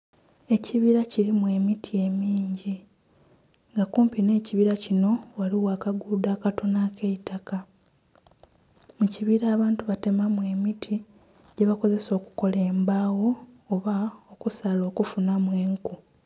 Ekibira kirimu emiti emingi nga kumpi nh'ekibira kinho ghaligho akaguudo akatono ak'eitaka, mu kibira abantu batemamu emiti gye bakozesa okukola embagho oba okusala okufunhamu enku.